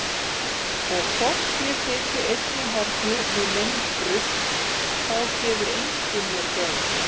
Og þótt ég sitji einn í horni við minn drukk þá gefur enginn mér gaum.